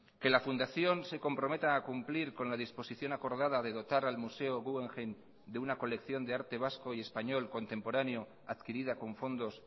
que la fundación se comprometa a cumplir con la disposición acordada de dotar al museo guggenheim de una colección de arte vasco y español contemporáneo adquirida con fondos